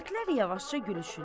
Övrətlər yavaşca gülüşürlər.